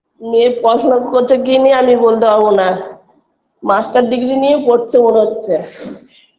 মেয়ে পড়াশোনা করছে কি নিয়ে আমি বলতে পারবোনা master degree নিয়ে পড়ছে মনে হচ্ছে